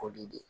O de